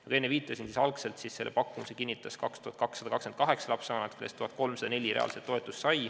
Nagu enne viitasin, kinnitasid selle pakkumise 2228 lapsevanemat, kellest 1304 said reaalset toetust.